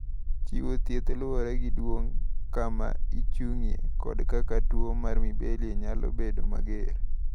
Chiwo thieth luwore gi duong’, kama ochung’ie, kod kaka tuo mar Mibelli nyalo bedo mager.